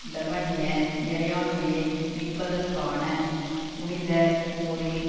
லெபனிய இறையாண்மையை மீட்பதற்கான புனிதப்போரில்